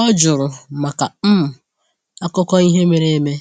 O jụrụ maka um akụkọ ihe mere eme